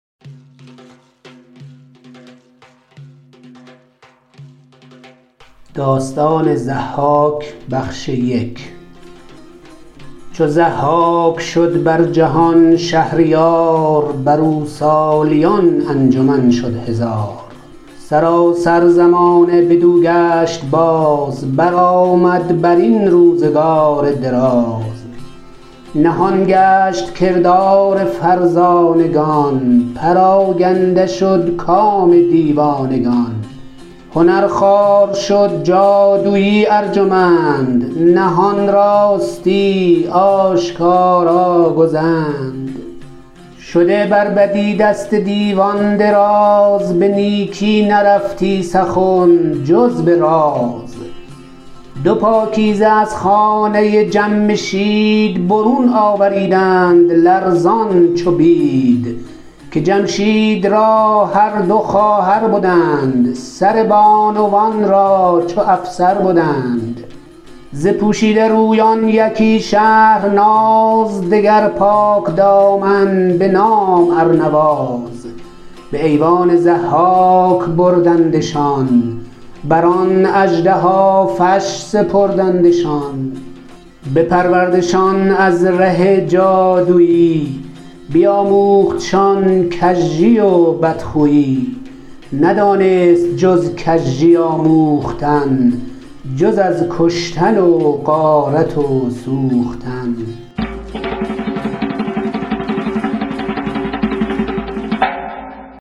چو ضحاک شد بر جهان شهریار بر او سالیان انجمن شد هزار سراسر زمانه بدو گشت باز برآمد بر این روزگار دراز نهان گشت کردار فرزانگان پراگنده شد کام دیوانگان هنر خوار شد جادویی ارجمند نهان راستی آشکارا گزند شده بر بدی دست دیوان دراز به نیکی نرفتی سخن جز به راز دو پاکیزه از خانه جمشید برون آوریدند لرزان چو بید که جمشید را هر دو دختر بدند سر بانوان را چو افسر بدند ز پوشیده رویان یکی شهرناز دگر پاکدامن به نام ارنواز به ایوان ضحاک بردندشان بر آن اژدهافش سپردندشان بپروردشان از ره جادویی بیاموختشان کژی و بدخویی ندانست جز کژی آموختن جز از کشتن و غارت و سوختن